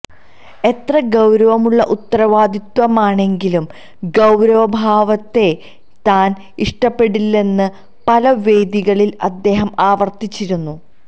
എത്ര ഗൌരവമുള്ള ഉത്തരവാദിത്വമാണെങ്കിലും ഗൌരവഭാവത്തെ താൻ ഇഷ്ടപ്പെടില്ലെന്ന് പല വേദികളിൽ അദ്ദേഹം ആവർത്തിച്ചിരുന്നു